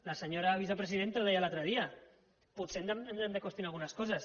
la senyora vicepresidenta ho deia l’altre dia potser ens hem de qüestionar algunes coses